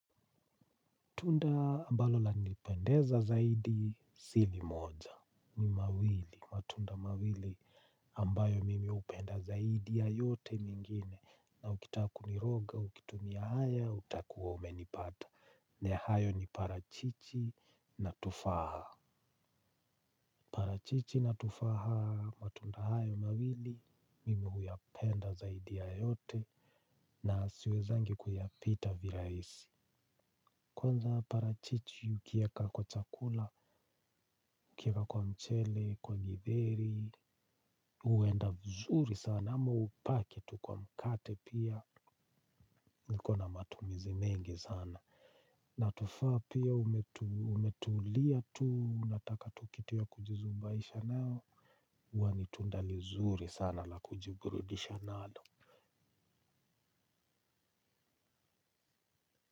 Matunda ambalo lanipendeza zaidi sili moja ni mawili. Matunda mawili ambayo mimi hupenda zaidi ya yote mengine. Na ukitakuniroga, ukitumia haya, utakuwa umenipata. Ni hayo, parachichi na tufaha. Parachichi na tufaha, matunda hayo mawili. Mimi huyapenda zaidi ya yote na siwezi kuyapita kirahisi. Kwanza parachichi ukiweka kwa chakula, ukiweka kwa mchele, kwa githeri huenda mzuri sana ama upake tu kwa mkate pia. Nikona matumizi mengi sana. Na tufaa pia umetulia tu unataka tu kitu ya kujizubaisha nayo. Huwa ni tunda lizuri sana la kujiburudisha nalo.